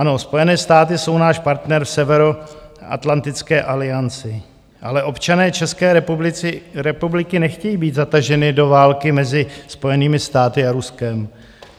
Ano, Spojené státy jsou náš partner v Severoatlantické alianci, ale občané České republiky nechtějí být zataženi do války mezi Spojenými státy a Ruskem.